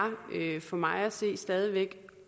for mig at se stadig væk